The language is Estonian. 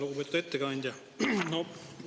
Lugupeetud ettekandja!